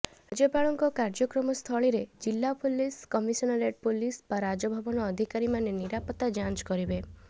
ରାଜ୍ୟପାଳଙ୍କ କାର୍ଯ୍ୟକ୍ରମସ୍ଥଳୀରେ ଜିଲ୍ଲା ପୁଲିସ କମିସନରେଟ୍ ପୁଲିସ ବା ରାଜଭବନ ଅଧିକାରୀମାେନ ନିରାପତ୍ତା ଯାଞ୍ଚ କରିେବ